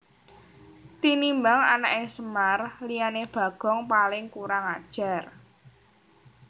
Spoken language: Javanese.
Tinimbang anaké Semar liyané Bagong paling kurang ajar